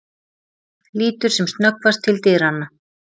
Lítur sem snöggvast til dyranna.